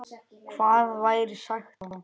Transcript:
Hvað væri sagt þá?